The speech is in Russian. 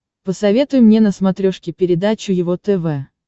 посоветуй мне на смотрешке передачу его тв